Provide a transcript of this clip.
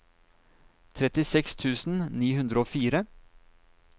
trettiseks tusen ni hundre og fire